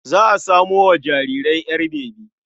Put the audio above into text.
Za a samo wa jaririyar ƴar bebi.